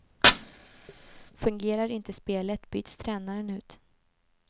Fungerar inte spelet byts tränaren ut.